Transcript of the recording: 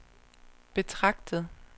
betragtet